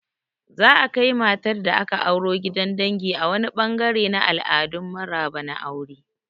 Za'a kai matar da aka auro gidan dangi a wani ɓangare na al'adun maraba na aure.